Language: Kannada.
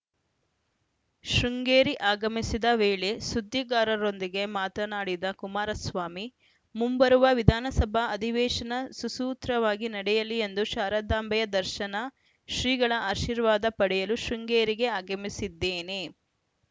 ಶೃಂಗೇರಿ ಆಗಮಿಸಿದ ವೇಳೆ ಸುದ್ದಿಗಾರರೊಂದಿಗೆ ಮಾತನಾಡಿದ ಕುಮಾರಸ್ವಾಮಿ ಮುಂಬರುವ ವಿಧಾನಸಭಾ ಅಧಿವೇಶನ ಸುಸೂತ್ರವಾಗಿ ನಡೆಯಲಿ ಎಂದು ಶಾರದಾಂಬೆಯ ದರ್ಶನ ಶ್ರೀಗಳ ಆಶೀರ್ವಾದ ಪಡೆಯಲು ಶೃಂಗೇರಿಗೆ ಆಗಮಿಸಿದ್ದೇನೆ